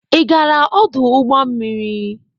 Ị gaara ọdụ ụgbọ mmiri?